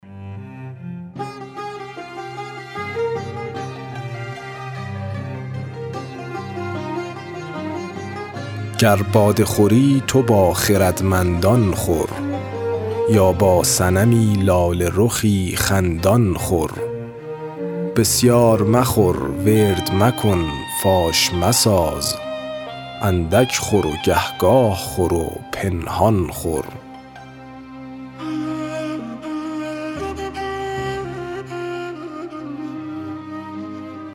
گر باده خوری تو با خردمندان خور یا با صنمی لاله رخی خندان خور بسیار مخور ورد مکن فاش مساز اندک خور و گهگاه خور و پنهان خور